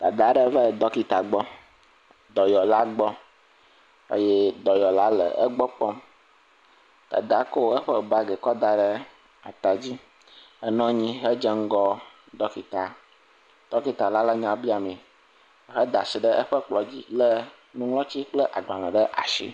Dadaa aɖe va ɖɔkita gbɔ. Dɔyɔla gbɔ eye dɔyɔla le egbɔ kpɔm. Dadaa kɔ eƒe baagi kɔ da ɖe atadzi henɔ anyi hedze ŋgɔ ɖɔlitaa. Ɖɔkitala le nya biamee. He da ashi ɖe eƒe kplɔ̃dzi lé nuŋlɔtsi kple agbalẽ ɖe ashi.